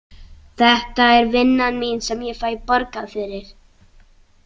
Þetta er vinnan mín sem ég fæ borgað fyrir.